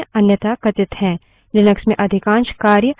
Linux में अधिकांश कार्य हम terminal के माध्यम से करते है